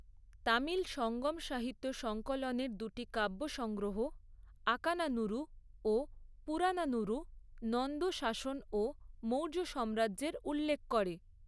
তামিল সঙ্গম সাহিত্য সংকলনের দুটি কাব্যসংগ্রহ, আকানানুরু ও পুরানানুরু নন্দ শাসনও মৌর্য সাম্রাজ্যের উল্লেখ করে।